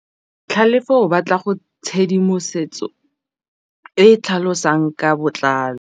Tlhalefô o batla tshedimosetsô e e tlhalosang ka botlalô.